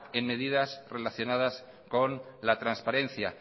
en medidas relacionadas con la transparencia